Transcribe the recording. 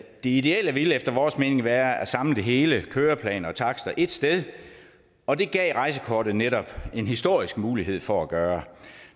det ideelle ville efter vores mening være at samle det hele køreplaner og takster ét sted og det gav rejsekortet netop en historisk mulighed for at gøre